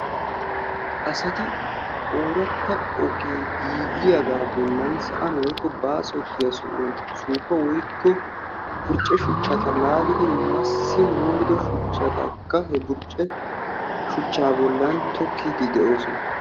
Asati oorata ogee giigiyaaga bollan sa'aan woykko baasotiya sohuwan suuppa woykko burcce shuchchata laalidi massi moliddo shuchchatakka he burcce shuchcha bollan tokkide de'oosona.